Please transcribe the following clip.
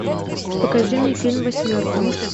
покажи мне фильм восьмерка